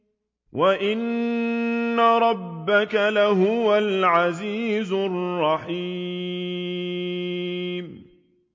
وَإِنَّ رَبَّكَ لَهُوَ الْعَزِيزُ الرَّحِيمُ